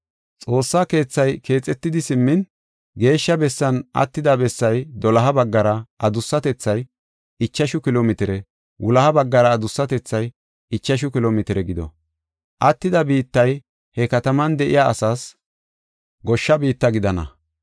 Xoossa keethay keexetidi simmin, geeshsha bessan attida bessay doloha baggara adussatethay ichashu kilo mitire; wuloha baggara adussatethay ichashu kilo mitire gido. Attida biittay he kataman de7iya asaas goshsha biitta gidana.